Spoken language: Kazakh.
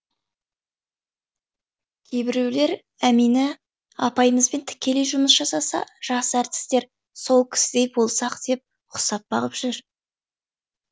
кейбіреулер әмина апайымызбен тікелей жұмыс жасаса жас әртістер сол кісідей болсақ деп ұқсап бағып жүр